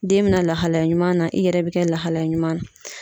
Den be na lahalaya ɲuman na, i yɛrɛ be kɛ lahalaya ɲuman na.